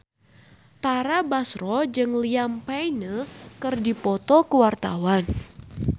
Tara Basro jeung Liam Payne keur dipoto ku wartawan